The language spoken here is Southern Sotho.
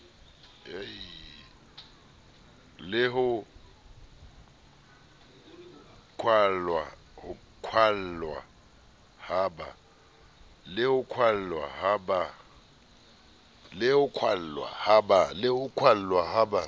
le ho kwallwa ha ba